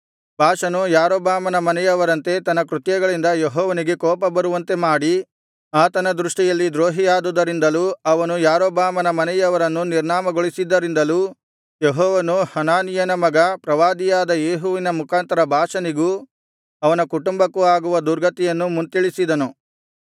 ಬಾಷನು ಯಾರೊಬ್ಬಾಮನ ಮನೆಯವರಂತೆ ತನ್ನ ದುಷ್ಕೃತ್ಯಗಳಿಂದ ಯೆಹೋವನಿಗೆ ಕೋಪಬರುವಂತೆ ಮಾಡಿ ಆತನ ದೃಷ್ಟಿಯಲ್ಲಿ ದ್ರೋಹಿಯಾದುದರಿಂದಲೂ ಅವನು ಯಾರೊಬ್ಬಾಮನ ಮನೆಯವರನ್ನು ನಿರ್ನಾಮಗೊಳಿಸಿದ್ದರಿಂದಲೂ ಯೆಹೋವನು ಹನಾನೀಯನ ಮಗ ಪ್ರವಾದಿಯಾದ ಯೇಹುವಿನ ಮುಖಾಂತರ ಬಾಷನಿಗೂ ಅವನ ಕುಟುಂಬಕ್ಕೂಆಗುವ ದುರ್ಗತಿಯನ್ನು ಮುಂತಿಳಿಸಿದನು